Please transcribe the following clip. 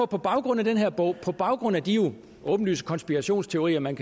på baggrund af den her bog på baggrund af de åbenlyse konspirationsteorier man